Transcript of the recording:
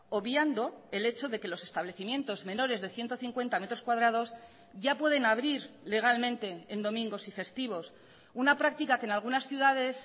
obviando el hecho de que los establecimientos menores de ciento cincuenta metros cuadrados ya pueden abrir legalmente en domingos y festivos una práctica que en algunas ciudades